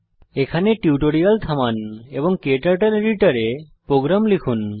এখানে টিউটোরিয়াল থামান এবং ক্টার্টল এডিটর এ প্রোগ্রাম লিখুন